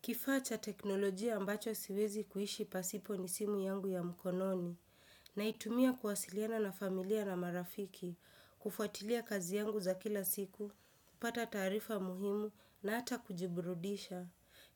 Kifaa cha teknolojia ambacho siwezi kuishi pasipo ni simu yangu ya mkononi. Naitumia kuwasiliana na familia na marafiki, kufuatilia kazi yangu za kila siku, kupata taarifa muhimu na hata kujiburudisha.